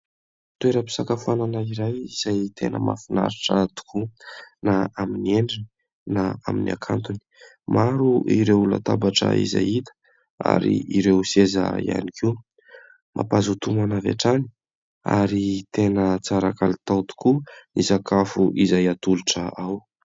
Toeram-pisakafoanana iray izay tena mahafinaritra tokoa na amin'ny endriny na amin'ny hakantony. Maro ireo latabatra izay hita ary ireo seza ihany koa. Mampazoto homana avy hatrany ary tena tsara kalitao tokoa ny sakafo izay atolotra ao.